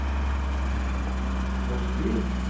Mosby